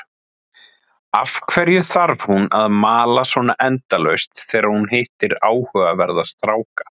Af hverju þarf hún að mala svona endalaust þegar hún hittir áhugaverða stráka?